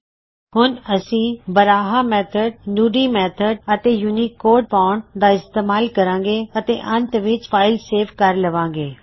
ਅਸੀਂ ਹੁਣ Baraha method Nudi method Baraha method Nudi method ਅਤੇ ਯੂਨਿਕੋਡ ਫ਼ੌਨਟ ਦਾ ਇਸਤੇਮਾਲ ਕਰਾਂਗੇ ਅਤੇ ਅੰਤ ਵਿੱਚ ਫਾਇਲ ਸੇਵ ਕਰ ਲਵਾਂਗੇ